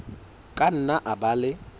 ka nna a ba le